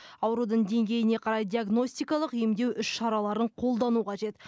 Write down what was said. аурудың деңгейіне қарай диагностикалық емдеу іс шараларын қолдану қажет